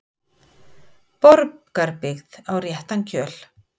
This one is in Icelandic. Borgarbyggð á réttan kjöl